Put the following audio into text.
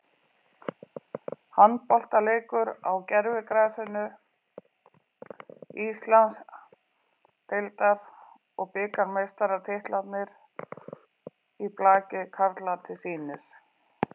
Handboltaleikur á gervigrasinu, Íslands- deildar og bikarmeistaratitlarnir í blaki karla til sýnis.